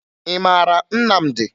Ị mara Nnamdi?